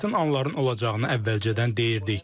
Çətin anların olacağını əvvəlcədən deyirdik.